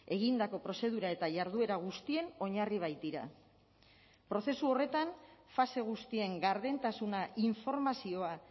egindako prozedura eta jarduera guztien oinarri baitira prozesu horretan fase guztien gardentasuna informazioa